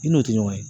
I n'o tɛ ɲɔgɔn ye